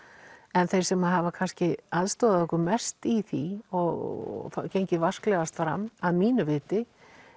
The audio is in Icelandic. en þeir sem hafa kannski aðstoðað okkur mest í því og gengið vasklegast fram að mínu viti